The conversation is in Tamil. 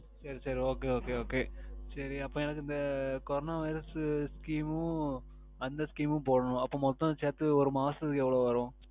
சரி சரி Okay Okay Okay சரி அப்போ எனக்கு இந்த Corona Virus Scheme மும் அந்த Scheme மும் போடனும் அப்போ மொத்தம் சேர்த்து ஒரு மாசத்திக்கு எவ்வளவு வரும்